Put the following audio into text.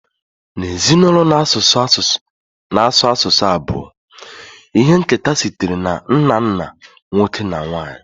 N'ezinụlọ na-asụ asụsụ abụọ, ihe nketa sitere na nna nna nwoke na nwanyị